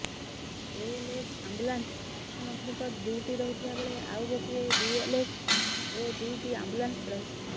ALS ambulance ମୁଖ୍ୟମନ୍ତ୍ରୀଙ୍କ duty ରହୁଥିବା ବେଳେ ଆଉ ଗୋଟିଏ ବିଏଲଏସ୍ ଓ ଦୁଇଟି ଆମ୍ବୁଲାନ୍ସ ରହିଛି